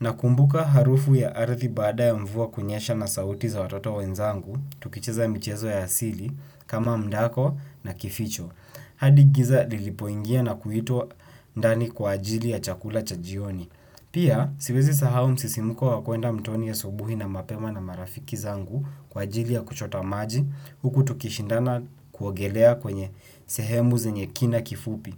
na kumbuka harufu ya arthi baada ya mvua kunyesha na sauti za watoto wenzangu, tukicheza mchezo ya asili kama mdako na kificho. Hadi giza liliopingia na kuitwa ndani kwa ajili ya chakula cha jioni. Pia, siwezi kusahau msisimuko wa kwenda mtoni asubuhi na mapema na marafiki zangu kwa ajili ya kuchota maji, huku tukishindana kuogelea kwenye sehemu zenye kina kifupi.